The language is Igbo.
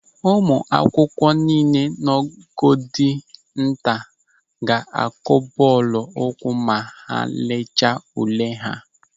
Ụmụ akwụkwọ niile nọ ogo dị nta ga-akụ bọọlụ ụkwụ ma ha lechaa ule ha.